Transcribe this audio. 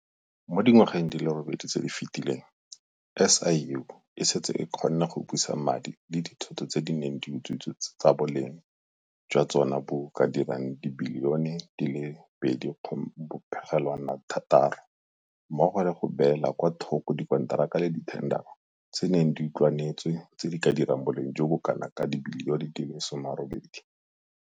Mo dingwageng di le robedi tse di fetileng, SIU e setse e kgonne go busa madi le dithoto tse di neng di utswitswe tse boleng jwa tsona bo ka dirang R2.6 bilione mmogo le go beela kwa thoko dikonteraka tsa dithendara tse di neng di utlwanetswe tse di ka dirang boleng jo bo kanaka R18 bilione.